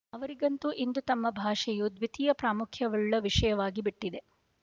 ಅವರಿಗಂತೂ ಇಂದು ತಮ್ಮ ಭಾಷೆಯು ದ್ವಿತೀಯ ಪ್ರಾಮುಖ್ಯವುಳ್ಳ ವಿಷಯವಾಗಿ ಬಿಟ್ಟಿದೆ